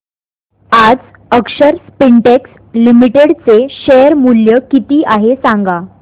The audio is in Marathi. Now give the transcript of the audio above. आज अक्षर स्पिनटेक्स लिमिटेड चे शेअर मूल्य किती आहे सांगा